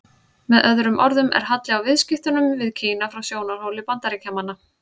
Með öðrum orðum er halli á viðskiptunum við Kína frá sjónarhóli Bandaríkjamanna.